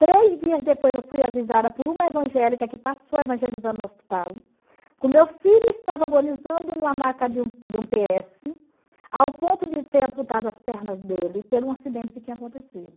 Três dias depois eu fui avisada por uma evangélica que passou evangelizando no hospital, que o meu filho estava agonizando numa maca de um de um pê ésse, ao ponto de ser amputado as pernas dele, pelo um acidente que tinha acontecido.